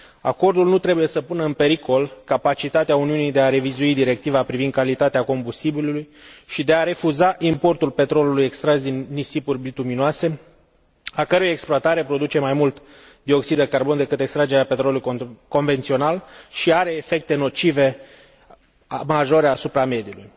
Acordul nu trebuie să pună în pericol capacitatea Uniunii de a revizui directiva privind calitatea combustibilului și de a refuza importul petrolului extras din nisipuri bituminoase, a cărui exploatare produce mai mult dioxid de carbon decât extragerea petrolului convențional și are efecte nocive majore asupra mediului.